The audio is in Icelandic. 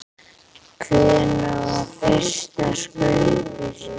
Hvenær var fyrsta skaupið sýnt?